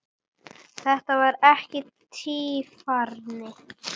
Þetta var ekki tvífari